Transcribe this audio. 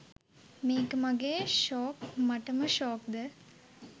මේක මගේ ෂෝක් මටම ෂෝක්ද?